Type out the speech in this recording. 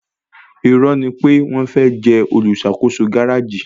Irọ́ni pé wọ́n fẹ́ jẹ olùṣàkóso gáréjì